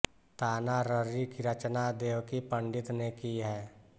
ताना ररी की रचना देवकी पंडित ने की है